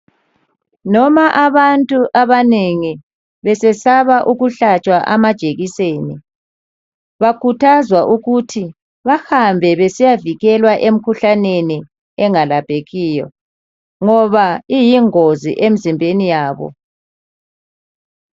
Noma abantu abanengi, besesaba ukuhlatshwa amajekiseni bakhuthazwa ukuthi bahambe besiyavikelwa emkhuhlaneni engalaphekiyo ngoba iyingozi emzimbeni yabo.